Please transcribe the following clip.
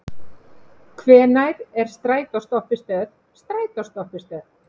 Hvenær er strætóstoppistöð strætóstoppistöð?